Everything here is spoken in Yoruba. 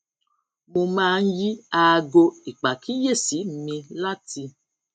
mo máa ń yí aago ìpàkíyèsí mi láti